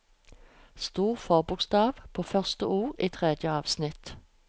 Stor forbokstav på første ord i tredje avsnitt